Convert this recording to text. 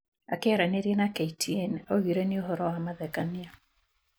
Akĩaranĩria na KTN augire" nĩ uhoro wa mathekania"